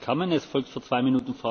Panie Przewodniczący!